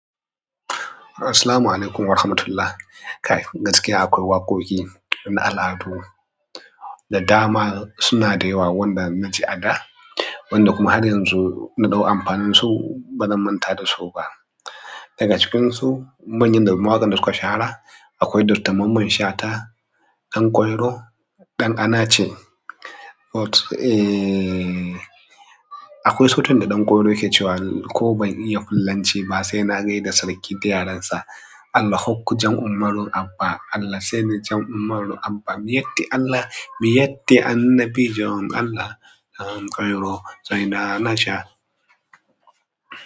Assalamu Alaikum Warahmatullahi. Kai gaskiya akwai waƙoƙi na al'adu da dama suna da yawa wanda na ji a da wanda kuma har yanzu na ɗau amfanin su bana manta dasu ba. Daga cikinsu manyan wa'inda suka shahara akwai Dr Mamman Shata, Ɗan ƙwairo, ɗan anace. Eh akwai sautin da Ɗanƙwairo yake cewa ko ban iya fullanci ba sai na gaida sarki da yaren sa. Allah hukku jan ummarun Abba Allah sai ni jan ummarun Abba. Mi yatti Allah mi yatti annabi jon Allah. Ɗan ƙwairo sai na naja.